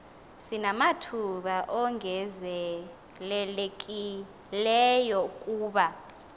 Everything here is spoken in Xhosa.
sinamathuba ongezelelekileyo kuba